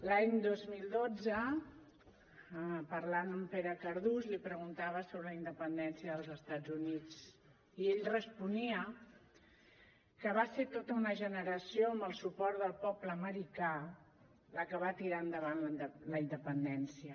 l’any dos mil dotze parlant amb pere cardús li preguntava sobre la independència dels estats units i ell responia que va ser tota una generació amb el suport del poble americà la que va tirar endavant la independència